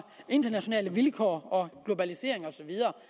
internationale vilkår og globalisering og så videre